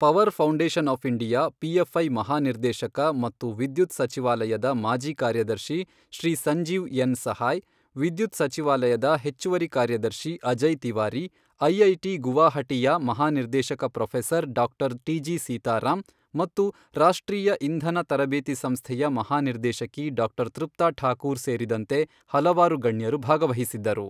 Power foundation of India PFI ಮಹಾನಿರ್ದೇಶಕ ಮತ್ತು ವಿದ್ಯುತ್ ಸಚಿವಾಲಯದ ಮಾಜಿ ಕಾರ್ಯದರ್ಶಿ ಶ್ರೀ ಸಂಜೀವ್ ಎನ್ ಸಹಾಯ್ ವಿದ್ಯುತ್ ಸಚಿವಾಲಯದ ಹೆಚ್ಚುವರಿ ಕಾರ್ಯದರ್ಶಿ ಅಜಯ್ ತಿವಾರಿ ಐಐಟಿ ಗುವಾಹಟಿಯ ಮಹಾನಿರ್ದೇಶಕ professor doctor T G Sitaram ಮತ್ತು ರಾಷ್ಟ್ರೀಯ ಇಂಧನ ತರಬೇತಿ ಸಂಸ್ಥೆಯ ಮಹಾನಿರ್ದೇಶಕಿ ಡಾಕ್ಟರ್ ತೃಪ್ತ ಠಾಕೂರ್ ಸೇರಿದಂತೆ ಹಲವಾರು ಗಣ್ಯರು ಭಾಗವಹಿಸಿದ್ದರು.